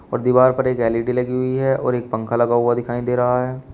और दीवार पर एक एल_ई_डी लगी हुई है और एक पंखा लगा हुआ दिखाई दे रहा है।